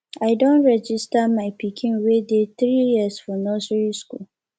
i don register my pikin wey dey three years for nursery school